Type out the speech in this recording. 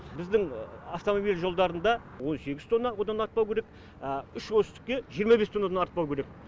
біздің автомобиль жолдарында он сегіз тонна одан артпау керек а үш осьтікке жиырма бес тоннадан артпау керек